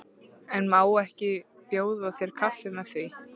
En má ég ekki bjóða þér kaffi og með því?